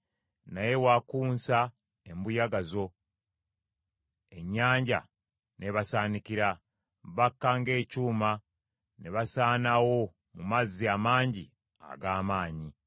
Naye wakunsa embuyaga zo, ennyanja n’ebasaanikira. Bakka ng’ekyuma, ne basaanawo mu mazzi amangi ag’amaanyi.